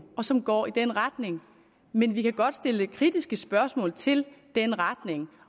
og som går i den retning men vi kan godt stille kritiske spørgsmål til den retning